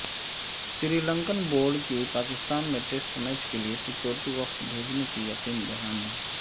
سری Lankan board کی پاکستان میں test match کیلئے سیکورٹی وفد بھیجنے کی یقین دہانی